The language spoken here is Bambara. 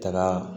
Taga